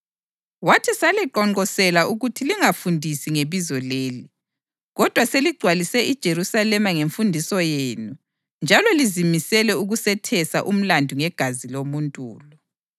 Wathi, “Saliqonqosela ukuthi lingafundisi ngebizo leli. Kodwa seligcwalise iJerusalema ngemfundiso yenu njalo lizimisele ukusethesa umlandu ngegazi lomuntu lo.”